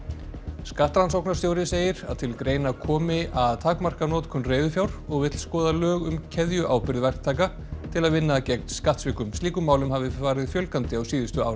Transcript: skattrannsóknarstjóri segir að til greina komi að takmarka notkun reiðufjár og vill skoða lög um keðjuábyrgð verktaka til að vinna gegn skattsvikum slíkum málum hafi farið fjölgandi á síðustu árum